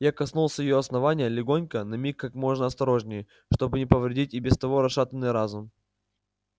я коснулся её основания легонько на миг как можно осторожнее чтобы не повредить и без того расшатанный разум